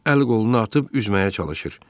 Əl qolunu atıb üzməyə çalışır.